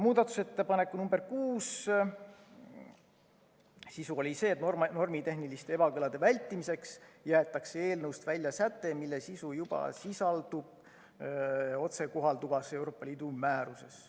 Muudatusettepaneku nr 6 sisu oli see, et normitehniliste ebakõlade vältimiseks jäetakse eelnõust välja säte, mille sisu juba sisaldub otsekohalduvas Euroopa Liidu määruses.